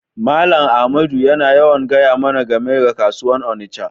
Mallam Ahmadu yana yawan gaya mana game da kasuwan Onitsha.